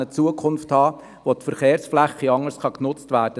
Dies wird es erlauben, Verkehrsflächen anders zu nutzen.